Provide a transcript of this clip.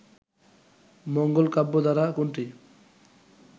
মঙ্গল কাব্য ধারা কোনটি